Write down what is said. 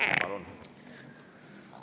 Palun!